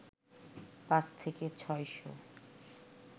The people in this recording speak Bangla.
পাঁচ থেকে ছয় শ